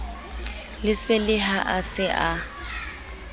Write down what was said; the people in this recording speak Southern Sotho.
lesele ha a se a